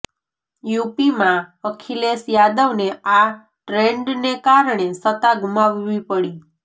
યુપીમાં અખિલેશ યાદવને આ ટ્રેંડને કારણે સત્તા ગુમાવવી પડી